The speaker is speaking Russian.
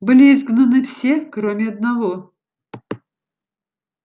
были изгнаны все кроме одного